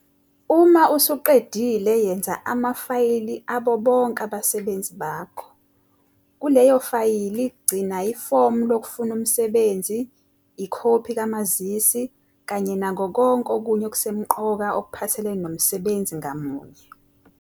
Uma usuqedile yenza amafayili abo bonke abasebenzi bakho. Kuleyo fayili gcina ifomu lokufuna umsebenzi, ikhophi kamazisi kanye nako konke okunye okusemqoka okuphathelene nomsebenzi ngamunye.